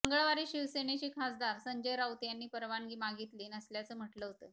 मंगळवारी शिवसेनेचे खासदार संजय राऊत यांनी परवानगी मागितली नसल्याचं म्हटलं होतं